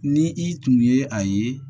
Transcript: Ni i tun ye a ye